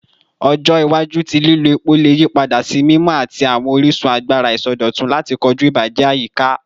Ọjọ iwaju ti lilo epo le yipada si mimọ ati awọn orisun agbara isọdọtun lati koju ibajẹ ayika